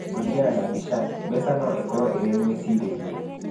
Kũringana na Bichiang'a, mbeca no ikorũo irĩ mwĩcirĩrie.